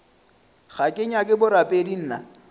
ga ke nyake borapedi nna